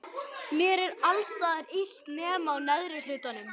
er mér hvergi illt nema á téðri sál.